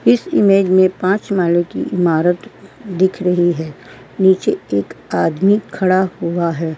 इस इमेज में पाँच महले कि इमारत दिख रही है। निचे एक आदमी खड़ा हुआ है।